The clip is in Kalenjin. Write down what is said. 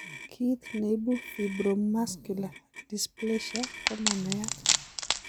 Kiit neibu fibromuscular dysplasia komanaiyat